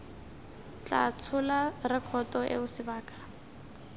tla tshola rekoto eo sebaka